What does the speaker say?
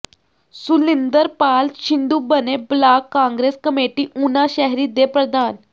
ਸੁਲਿੰਦਰਪਾਲ ਸ਼ਿੰਦੂ ਬਣੇ block Congress committee Una ਸ਼ਹਿਰੀ ਦੇ ਪ੍ਰਧਾਨ